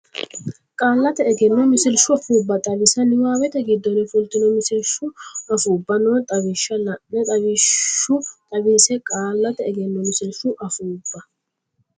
Qaallate Egenno Misilshu Afuubba Xawisa niwaawete giddonni fultino misilshu afuubba noo lawishsha la ine lawishshu xawisse Qaallate Egenno Misilshu Afuubba.